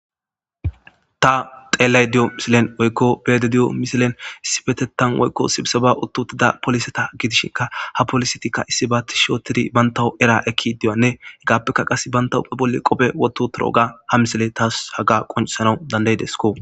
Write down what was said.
ta xeellay di7o misilen woykko beede di7o misilen issipetetan woykko sibisaba uttutida poliseta giidishinka ha polisetikka issi baatti shootidi bantawu era ekki diyanne hegappeka qas banta huphe bolli qophe woto torooga ha misile taas haga qoncsana dandaydesko